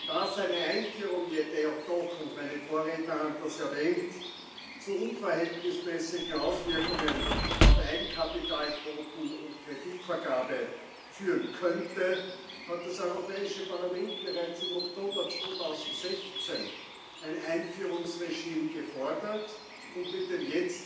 Da seine Einführung jedoch meine Vorredner haben das erwähnt zu unverhältnismäßigen Auswirkungen auf Eigenkapitalquoten und Kreditvergabe führen könnte, hat das Europäische Parlament bereits im Oktober 2016 ein Einführungsregime gefordert, und mit dem